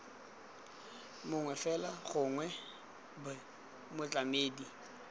mongwe fela gongwe b motlamedi